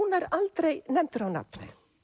nær aldrei nefndur á nafn